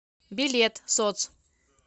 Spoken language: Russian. билет соц